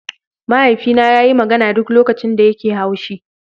Mahaifina yana magana duk lokacin da yake haushi.